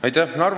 Aitäh!